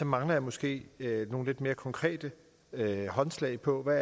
mangler jeg måske nogle lidt mere konkrete håndslag på hvad